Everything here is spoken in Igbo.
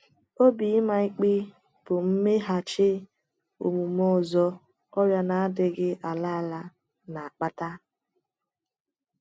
Obi ịma ịkpe bụ mmeghachi omume ọzọ ọrịa na - adịghị ala ala na - akpata.